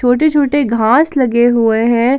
छोटे छोटे घास लगे हुए हैं।